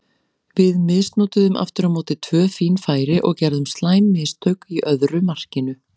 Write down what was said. Við misnotuðum aftur á móti tvö fín færi og gerðum slæm mistök í öðru markinu.